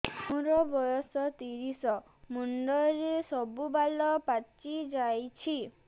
ମୋର ବୟସ ତିରିଶ ମୁଣ୍ଡରେ ସବୁ ବାଳ ପାଚିଯାଇଛି